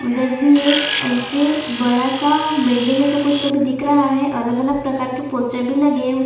उधर भी एक ऐसे बड़ा सा बिल्डिंग जैसा कुछ तो भी दिख रहा है अलग-अलग प्रकार के पोस्टर भी लगे है उस--